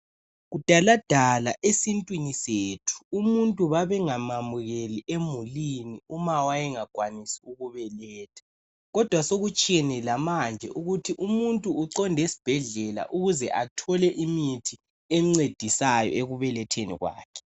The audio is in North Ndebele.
Kudala dala esintwini sethu umuntu babengamamukeli emulini uma wayengakwanisi ukubeletha kodwa sokutshiyene lamanje ukuthi umuntu uqonda esibhedlela ukuze athole imithi emncedisayo ekubeletheni kwakhe.